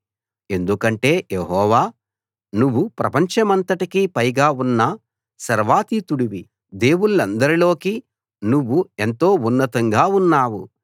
ఎందుకంటే యెహోవా నువ్వు ప్రపంచమంతటికీ పైగా ఉన్న సర్వాతీతుడివి దేవుళ్ళందరిలోకీ నువ్వు ఎంతో ఉన్నతంగా ఉన్నావు